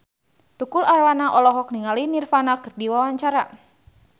Tukul Arwana olohok ningali Nirvana keur diwawancara